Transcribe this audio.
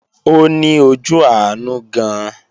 Ó ní ojú àánú gan-an